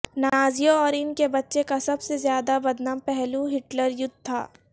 نازیوں اور ان کے بچہ کا سب سے زیادہ بدنام پہلو ہٹلر یوتھ تھا